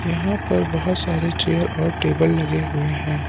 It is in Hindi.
यहां पर बहोत सारे चेयर और टेबल लगे हुए हैं।